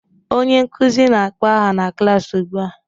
Onye nkụzi na akpọ aha n'klas ụgbụa